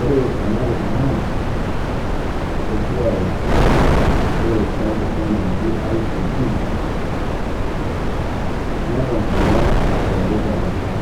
Ore ena nkiteng'ena esiai ashoo enkisoma najii ICT, netoon agiraa aitobirari te nkopaang'